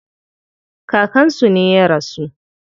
Kakan su ne ya rasu.